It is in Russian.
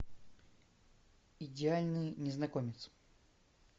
идеальный незнакомец